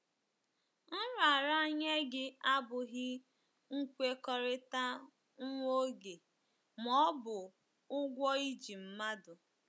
Nraranye gị abụghị nkwekọrịta nwa oge ma ọ bụ ụgwọ i ji mmadụ